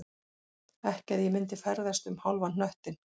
Ekki að ég myndi ferðast um hálfan hnöttinn